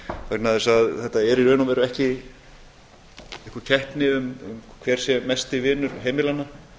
vegna þess að þetta er í raun og veru ekki einhver keppni um hver sé mestur vinur heimilanna